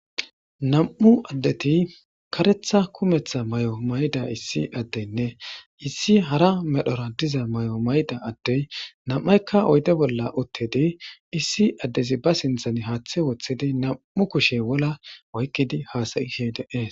Nam7u addethi kareththa kumeththa mayuwa mayida issi addenne issi hara medhora diza mayo mayida addee nam7aykka oyde bolla uththidi issi addezi ba sinththeni haaththe woththidi nam7u kushe wola oykkidi haasayishe de7ees.